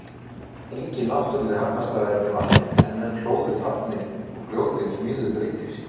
Engin náttúrleg hafnaraðstaða er við vatnið en menn hlóðu hafnir úr grjóti og smíðuðu bryggjur.